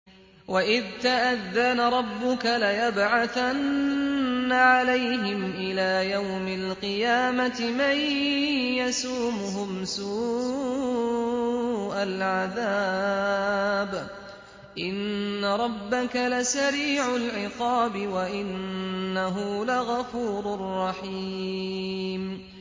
وَإِذْ تَأَذَّنَ رَبُّكَ لَيَبْعَثَنَّ عَلَيْهِمْ إِلَىٰ يَوْمِ الْقِيَامَةِ مَن يَسُومُهُمْ سُوءَ الْعَذَابِ ۗ إِنَّ رَبَّكَ لَسَرِيعُ الْعِقَابِ ۖ وَإِنَّهُ لَغَفُورٌ رَّحِيمٌ